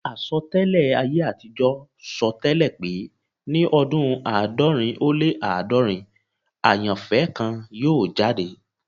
Àsọtẹ́lẹ̀ ayé àtijọ́ sọ tẹ́lẹ̀ pé ní ọdún àádọ́rin ó lé àádọ́rin [400], àyànfẹ́ kan yóò jáde